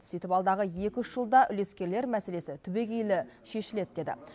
сөйтіп алдағы екі үш жылда үлескерлер мәселесі түбегейлі шешіледі деді